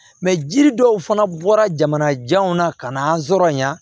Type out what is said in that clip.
jiri dɔw fana bɔra jamana janw na ka na an sɔrɔ yan